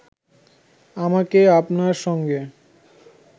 আমাকে আপনার সঙ্গে